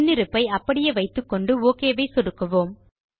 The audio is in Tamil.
முன்னிருப்பை அப்படியே வைத்துக்கொண்டு ஒக் ஐ சொடுக்குவோம்